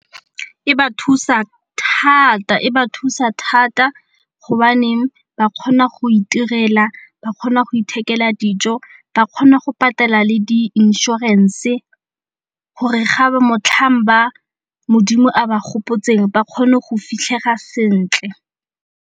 E ba thusa thata hobaneng ba kgona go itirela, ba kgona go ithekela dijo, ba kgona go patela le di inšorense gore ga ba motlhang ba modimo a ba gopotseng ba kgone go fitlhega sentle.